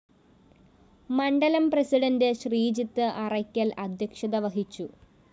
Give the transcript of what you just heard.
മണ്ഡലം പ്രസിഡന്റ് ശ്രീജിത്ത് അറ്ക്കല്‍ അദ്ധ്യക്ഷത വഹിച്ചു